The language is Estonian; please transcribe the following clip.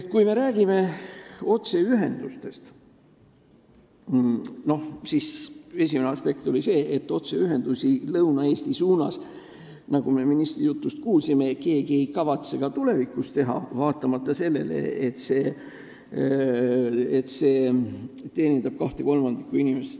Kui me räägime otseühendustest, siis esimene aspekt on see, et otseühendusi Lõuna-Eesti suunas, nagu me ministri jutust kuulsime, keegi ei kavatse ka tulevikus teha, vaatamata sellele, et see teenindab 2/3 inimestest.